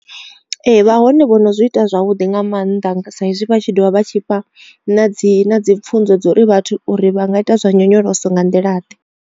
Ee vha hone vhono zwi ita zwavhuḓi nga maanḓa sa izwi vha tshi dovha vha tshi fha na dzi na dzi pfhunzo dza uri vhathu uri vha nga ita zwa nyonyoloso nga nḓila ḓe.